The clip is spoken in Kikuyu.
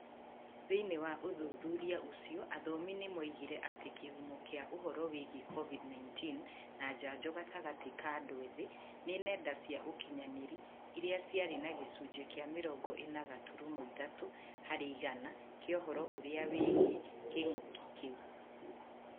Thìinĩ wa ũthuthuria ũcio, athomi nĩ moigire atĩ kĩhumo kĩa ũhooro wĩgiĩ covid-19 na njanjo gatagatĩ ka andũ ethĩ nĩ nenda cia ũkinyanĩrĩa iria ciarĩ na gĩcunjĩ kĩa mĩrongo ĩna gaturumo ithatũ harĩ igana kĩa ũhoro ũrĩa wĩgiĩ king'ũki kĩu.